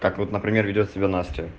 так вот например ведёт себя настя